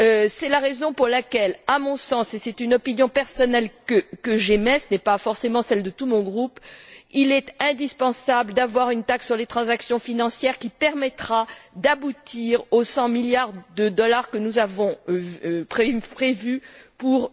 C'est la raison pour laquelle, à mon sens et c'est une opinion personnelle que j'émets, ce n'est pas forcément celle de tout mon groupe il est indispensable d'avoir une taxe sur les transactions financières qui permettra d'aboutir aux cent milliards de dollars que nous avons prévus pour